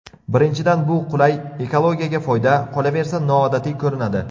Birinchidan bu qulay, ekologiyaga foyda, qolaversa, noodatiy ko‘rinadi.